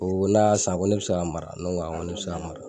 O la sisan ko ne bɛ se k'a mara ne ko awɔ ne bɛ se k'a mara.